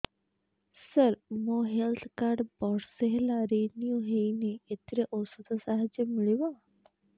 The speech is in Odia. ସାର ମୋର ହେଲ୍ଥ କାର୍ଡ ବର୍ଷେ ହେଲା ରିନିଓ ହେଇନି ଏଥିରେ ଔଷଧ ସାହାଯ୍ୟ ମିଳିବ